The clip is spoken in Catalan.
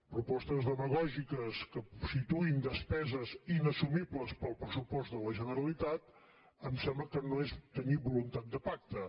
propostes demagògiques que situïn despeses inassumibles pel pressupost de la generalitat em sembla que no és tenir voluntat de pacte